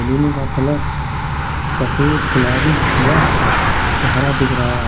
Balloon का colour सफेद गुलाबी व हरा दिख रहा है।